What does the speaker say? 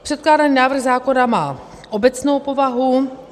Předkládaný návrh zákona má obecnou povahu.